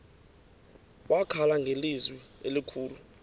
wakhala ngelizwi elikhulu